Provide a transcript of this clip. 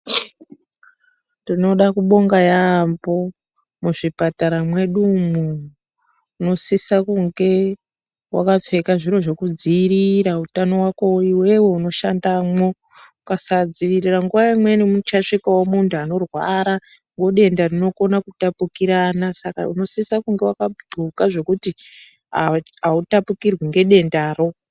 Tinoda kubonga yambo mu zvipatara mwedu mwo munosisa kunge waka pfeka zviro zveku dziivirira utano hwako iwewe uno shandamwo ukasa dzivirira nguva imweni mucha svikawo muntu anorwara we denda rinokona kupukirana saka unosisa kunge waka ndxoka zvekuti autapukirwi ne dendaro.